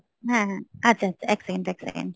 হ্যাঁ, হ্যাঁ আচ্ছা, আচ্ছা, আচ্ছা, এক second , এক second